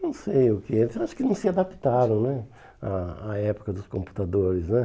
Eu acho que eles acho que não se adaptaram né à à época dos computadores né.